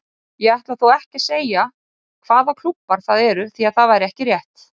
Ég ætla þó ekki að segja hvaða klúbbar það eru því það væri ekki rétt.